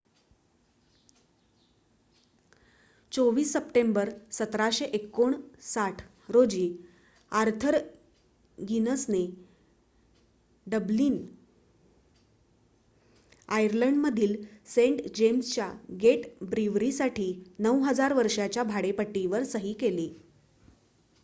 २४ सप्टेंबर १७५९ रोजी आर्थर गिनसने डब्लिन आयर्लंडमधील सेंट जेम्सच्या गेट ब्रीवरीसाठी ९००० वर्षांच्या भाडेपट्टीवर सही केली